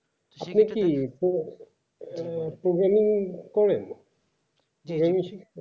আসলে কি সে আহ programming same